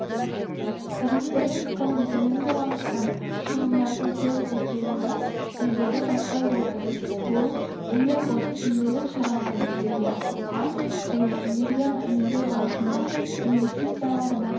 тарифтер тым төмен болғандықтан шығындардың толық өтелуі ілгері баспай отыр бұл энерготиімділік шараларын жүзеге асыруға және энергияны үнемдеу бағытында инвестицияларды